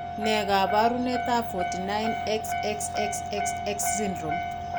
Ne kaabarunetap 49,XXXXX syndrome?